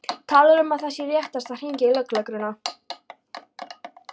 Talar um að það sé réttast að hringja í lögregluna.